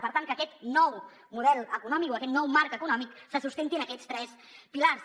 per tant que aquest nou model econòmic o aquest nou marc econòmic se sustenti en aquests tres pilars